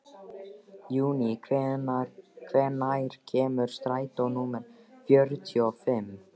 Júní, hvenær kemur strætó númer fjörutíu og fimm?